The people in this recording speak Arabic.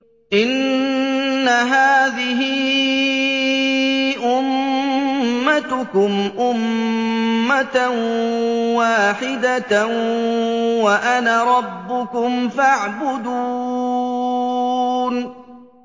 إِنَّ هَٰذِهِ أُمَّتُكُمْ أُمَّةً وَاحِدَةً وَأَنَا رَبُّكُمْ فَاعْبُدُونِ